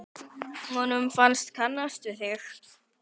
Honum fannst hann kannast við þig.